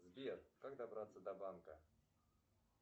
сбер как добраться до банка